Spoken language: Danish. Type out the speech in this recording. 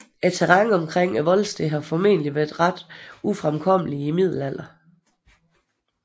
Terrænet omkring voldstedet har formentlig været ret ufremkommeligt i middelalderen